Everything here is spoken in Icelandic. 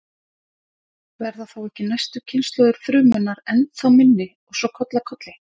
Verða þá ekki næstu kynslóðir frumunnar ennþá minni og svo koll af kolli?